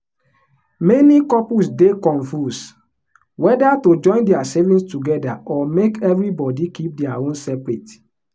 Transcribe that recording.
many couples dey confuse whether to join their savings together or make everybody keep their own separate.